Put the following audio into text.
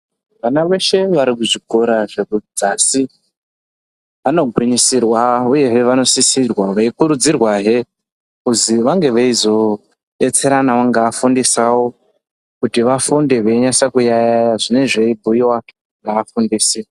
Vana veshe vari kuzvikora zvekudzasi. Vanogwisirwa, uyehe vanosisirwa veikurudzirwa he kuzi vange veizobetseranawo neafundisi avo kuti vafunde veinyaso kuyaiya zvinenge zvibhuyiwa ngeafundisi.